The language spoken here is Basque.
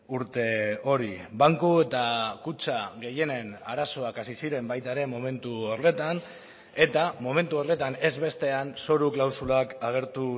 urte hori banku eta kutxa gehienen arazoak hasi ziren baita ere momentu horretan eta momentu horretan ez bestean zoru klausulak agertu